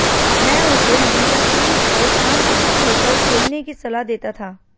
मैं उसे हमेशा क्रीज पर शांतचित्त होकर खेलने की सलाह देता था